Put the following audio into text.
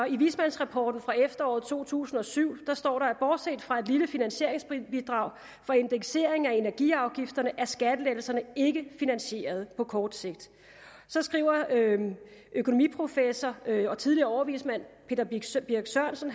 i vismandsrapporten fra efteråret to tusind og syv står der bortset fra et lille finansieringsbidrag fra indekseringen af energiafgifterne er skattelettelserne ikke finansierede på kort sigt så skriver økonomiprofessor og tidligere overvismand peter birch sørensen